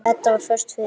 Edda var föst fyrir.